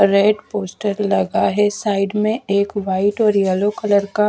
red poster लगा है side में एक व्हाइट और येल्लो कलर का--